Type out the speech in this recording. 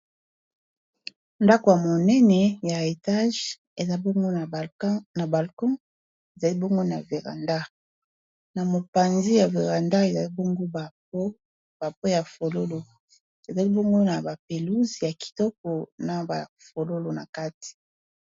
Ndako ya monene ya etage eza bongo na balkon ezali bongo na veranda na mopanzi ya veranda ezali bongo ba po ya fololo ezali bongo na ba pelouse ya kitoko na ba fololo na kati.